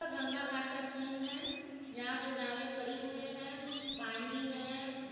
अ गंगा घाट का सीन है यहाँ पे नावे खड़ी हुए है पानी है।